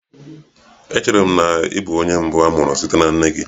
Echere m na ị bụ onye mbụ a mụrụ site na nne gị.